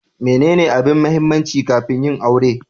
Menene abin mahimmanci kafin yin aure?